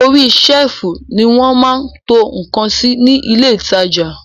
Orí sẹ́lìfù ni wọ́n máa ń to ǹkan sí ní ilé ìtajà